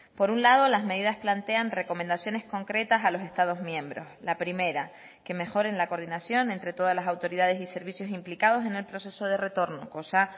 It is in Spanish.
por un lado las medidas plantean recomendaciones concretas a los estados miembros la primera que mejoren la coordinación entre todas las autoridades y servicios implicados en el proceso de retorno cosa